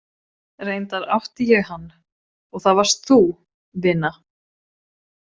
Reyndar átti ég hann, og það varst þú, vina.